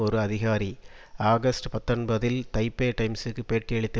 ஒரு அதிகாரி ஆகஸ்ட் பத்தொன்பதில் தைப்பே டைம்சிற்கு பேட்டியளித்த